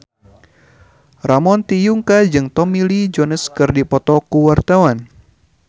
Ramon T. Yungka jeung Tommy Lee Jones keur dipoto ku wartawan